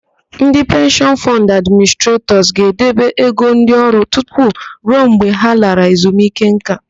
Ndị Penshịọn Fọnd Administretọs ga-edebe ego ndị ọrụ tutu ruo mgbe ha lara ezunike ńká.